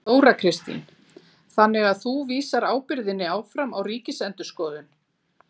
Þóra Kristín: Þannig að þú vísar ábyrgðinni áfram á Ríkisendurskoðun?